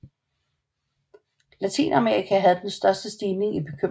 Latinamerika havde den største stigning i bekymring